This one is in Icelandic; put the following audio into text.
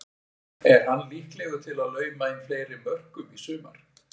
Er hann líklegur til að lauma inn fleiri mörkum í sumar?